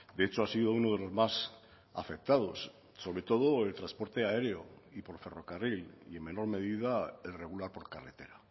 de hecho ha sido uno de los más afectados sobre todo el transporte aéreo y por ferrocarril y en menor medida el regular por carretera